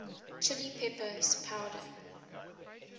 chili peppers powder